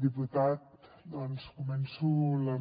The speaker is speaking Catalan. diputat doncs començo la